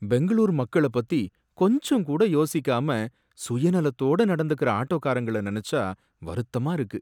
பெங்களூர் மக்கள பத்தி கொஞ்சங்கூட யோசிக்காம சுயநலத்தோட நடந்துக்கற ஆட்டோகாரங்கள நெனச்சா வருத்தமா இருக்கு.